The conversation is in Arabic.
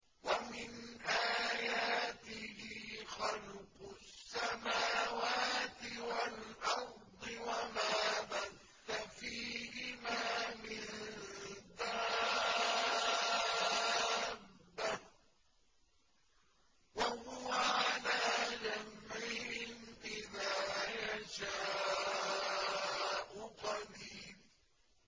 وَمِنْ آيَاتِهِ خَلْقُ السَّمَاوَاتِ وَالْأَرْضِ وَمَا بَثَّ فِيهِمَا مِن دَابَّةٍ ۚ وَهُوَ عَلَىٰ جَمْعِهِمْ إِذَا يَشَاءُ قَدِيرٌ